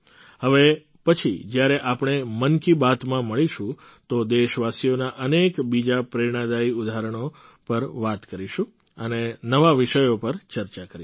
હવે પછી જ્યારે આપણે મન કી બાતમાં મળીશું તો દેશવાસીઓના અનેક બીજાં પ્રેરણાદાયી ઉદાહરણો પર વાત કરીશું અને નવા વિષયો પર ચર્ચા કરીશું